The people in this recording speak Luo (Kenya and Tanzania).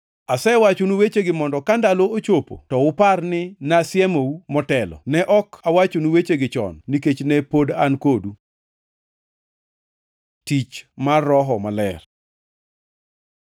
Asewachonu wechegi mondo ka ndalo ochopo to upar ni nasesiemou motelo. Ne ok awachonu wechegi chon nikech ne pod an kodu. Tich mar Roho Maler